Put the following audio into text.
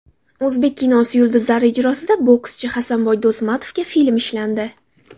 O‘zbek kinosi yulduzlari ijrosida bokschi Hasanboy Do‘stmatovga film ishlandi.